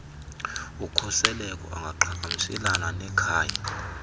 ukhuseleko angaqhagamshelana nekhaya